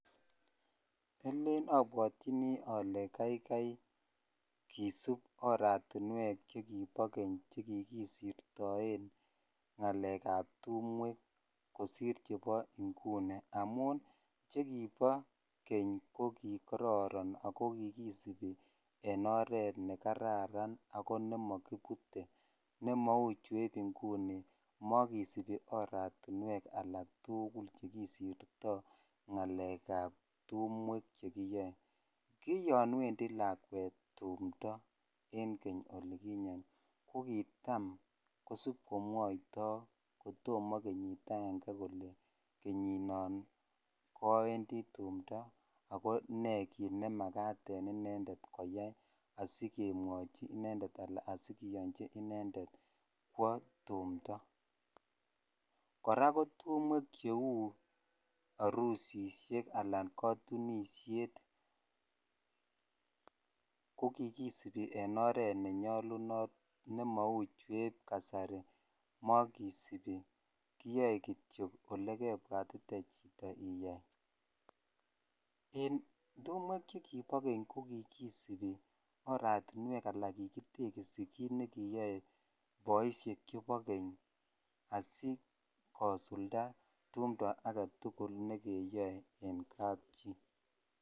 Alen abwatyini ole kaikai kisup oratinwekab chekibo keny che kikisitoen ngalek ab tumwek kosir chebo inguni amun che kibo keny ko kokororon ago ki kisupi en oret ne kararan ago ne magibite ne mou chebo inguni makisupi aratinwek alk tugul chekisirto ngalek ab tumwek chekiyoe ki yoon wendi lakwet tumndo en keny olikinyen kokitom kosip komwoito kotoma kenyit agenge kole kenyinon koawendi tumdo ago ne kiit ne makat en inendet koyoi asikemwachi inendet anan asikiyonchi inendet kwo tumndo kora ko u tumwek che u arusisiek anan kokatunisiet kokikisupi en oret ne nyolunot nema u chukibo kasari makisipi kiyoe kityok olekebwatite chito iyaien tumwek chekibo keny kokikisupi oratinwek anan kigitekisi kit ne kiyoe boisiek chebo keny asikosulda tumdo agetugul nekeyoe en kap chi